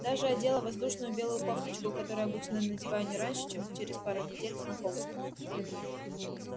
даже одела воздушную белую кофточку которую обычно надеваю не раньше чем через пару недель знакомства